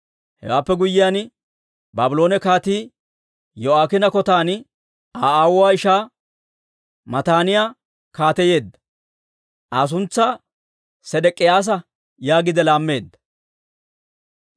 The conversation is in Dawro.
Hewaappe guyyiyaan, Baabloone kaatii Yo'aakiina Kotan Aa aawuwaa ishaa Mataaniyaa kaateyeedda. Aa suntsaa Sedek'iyaasa yaagiide laammeedda.